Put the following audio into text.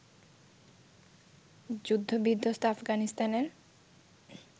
যুদ্ধ-বিধ্বস্ত আফগানিস্তানের